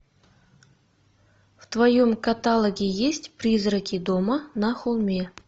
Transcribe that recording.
в твоем каталоге есть призраки дома на холме